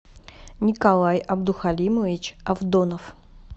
николай абдухалимович авдонов